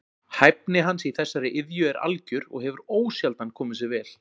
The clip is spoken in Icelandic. Hæfni hans í þessari iðju er algjör og hefur ósjaldan komið sér vel.